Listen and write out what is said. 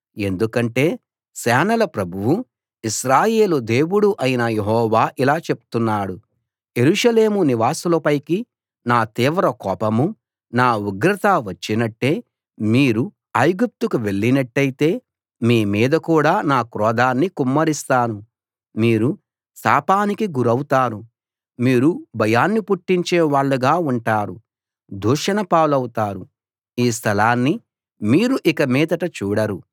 ఎందుకంటే సేనల ప్రభువూ ఇశ్రాయేలు దేవుడూ అయిన యెహోవా ఇలా చెప్తున్నాడు యెరూషలేము నివాసుల పైకి నా తీవ్ర కోపమూ నా ఉగ్రతా వచ్చినట్టే మీరు ఐగుప్తుకు వెళ్ళినట్టయితే మీ మీద కూడా నా క్రోధాన్ని కుమ్మరిస్తాను మీరు శాపానికి గురౌతారు మీరు భయాన్ని పుట్టించే వాళ్ళుగా ఉంటారు దూషణ పాలవుతారు ఈ స్థలాన్ని మీరు ఇక మీదట చూడరు